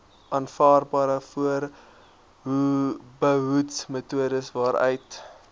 aanvaarbare voorbehoedmetodes waaruit